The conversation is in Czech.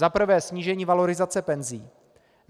Za prvé snížení valorizace penzí.